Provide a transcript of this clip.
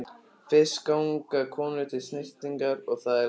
Fyrst ganga konur til snyrtingar og það er langur gangur.